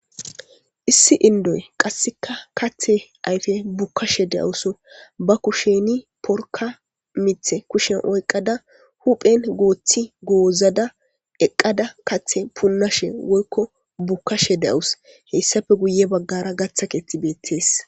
Issi inddoy qasseka kathe ayfe bukkashe de7awus. Ba kusheni porka mithe kushen oyqada huphen gooththi goozada eqqada kathe punnashe woykko bukkashe deawus. Heyssappe guye baggara gaththa keeththi beettees.